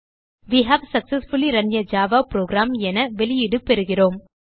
way have successfully run a Java program என வெளியீடு பெறுகிறோம்